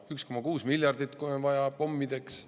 – 1,6 miljardit, kui on vaja, pommideks.